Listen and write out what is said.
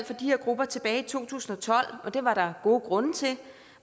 for de her grupper tilbage i to tusind og tolv det var der gode grunde til